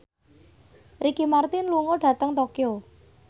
Ricky Martin lunga dhateng Tokyo